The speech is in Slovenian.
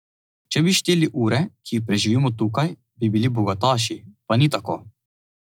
Če bi šteli ure, ki jih preživimo tukaj, bi bili bogataši, pa ni tako.